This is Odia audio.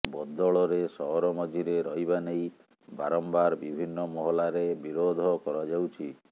ବଦଳରେ ସହର ମଝିରେ ରହିବା ନେଇ ବାରମ୍ବାର ବିଭିନ୍ନ ମହଲାରେ ବିରୋଧ କରାଯାଉଛି